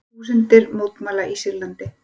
Þúsundir mótmæla í Sýrlandi